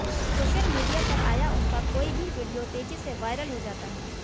social media पर आया उनका कोई भी वीडियो तेज़ी से वायरल हो जाता है